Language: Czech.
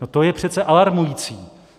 No to je přece alarmující!